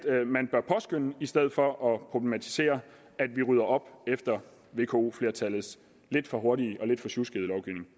man bør i stedet for at problematisere at vi rydder op efter vko flertallets lidt for hurtige og lidt for sjuskede lovgivning